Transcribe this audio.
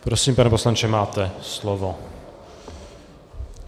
Prosím, pane poslanče, máte slovo.